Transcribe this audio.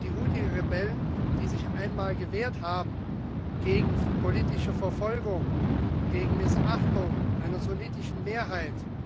Die Huthi Rebellen, die sich einmal gewehrt haben gegen politische Verfolgung, gegen Missachtung durch eine sunnitische Mehrheit.